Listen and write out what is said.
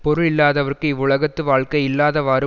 பொருள் இல்லாதவர்க்கு இவ்வுலகத்து வாழ்க்கை இல்லாதவாறு